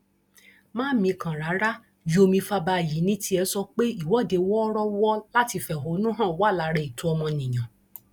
má mikàn rárá yomi fabayì ní tiẹ sọ pé ìwọde wọọrọwọ láti fẹhónú hàn wà lára ẹtọ ọmọnìyàn